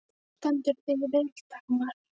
Þú stendur þig vel, Dagmar!